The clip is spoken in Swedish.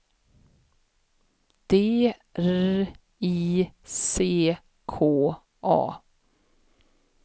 D R I C K A